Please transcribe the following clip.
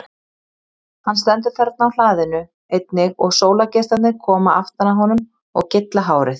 Hann stendur þarna á hlaðinu einnig og sólargeislarnir koma aftan að honum og gylla hárið.